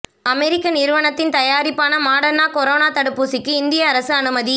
அமெரிக்க நிறுவனத்தின் தயாரிப்பான Moderna corona தடுப்பூசிக்கு இந்திய அரசு அனுமதி